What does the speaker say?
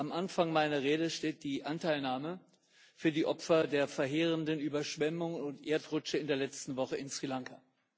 Am Anfang meiner Rede steht die Anteilnahme für die Opfer der verheerenden Überschwemmungen und Erdrutsche in der letzten Woche in Sri Lanka.